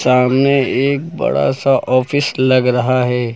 सामने एक बड़ा सा ऑफिस लग रहा है।